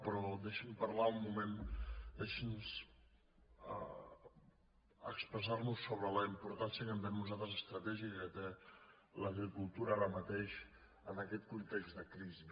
però deixi’ns expressar·nos sobre la importància que ho entenem nosaltres estratègica que té l’agricultura ara mateix en aquest context de crisi